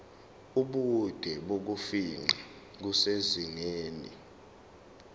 ubude bokufingqa kusezingeni